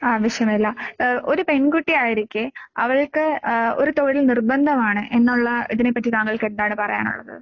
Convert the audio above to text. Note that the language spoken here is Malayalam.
ആവശ്യമില്ല. ഏഹ് ഒരു പെൺകുട്ടിയായിരിക്കെ അവൾക്ക് ഏഹ് ഒരു തൊഴിൽ നിർബന്ധമാണ് എന്നൊള്ള ഇതിനെപ്പറ്റി താങ്കൾക്കെന്താണ് പറയാനൊള്ളത്?